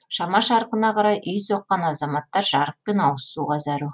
шама шарқына қарай үй соққан азаматтар жарық пен ауызсуға зәру